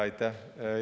Aitäh!